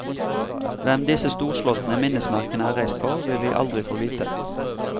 Hvem disse storslåtte minnesmerkene er reist for, vil vi aldri få vite.